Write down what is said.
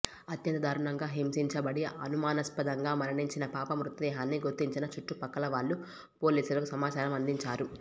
అత్యంత దారుణంగా హింసించబడి అనుమానాస్పదంగా మరణించిన పాప మృతదేహాన్ని గుర్తించిన చుట్టుపక్కల వాళ్లు పోలీసులకు సమాచారం అందించారు